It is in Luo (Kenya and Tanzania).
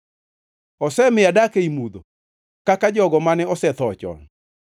Osemiyo adak ei mudho kaka jogo mane osetho chon.